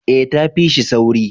eh ta fi shi sauri